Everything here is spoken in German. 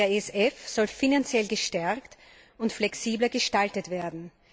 Der SF soll finanziell gestärkt und flexibler gestaltet werden.